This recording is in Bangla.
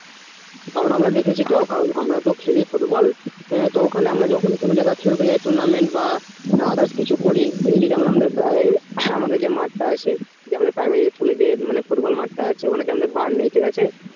কারণ আমরা দেখিছি আমরা তো খেলি football সেই তো tournament খেলতে যাই tournament ব others কিছু করি আমাদের যে মাঠ তা আছে primary school যে football ground তা আছে ওখানে তো বার নেই